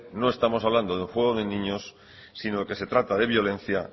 no estamos hablando de un juego de niños sino que se trata de violencia